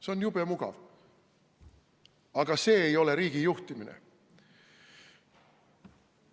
See on jube mugav, aga see ei ole riigijuhtimine.